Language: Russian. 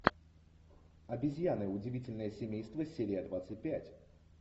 обезьяны удивительное семейство серия двадцать пять